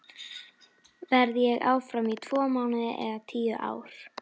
Verð ég áfram í tvo mánuði eða tíu ár?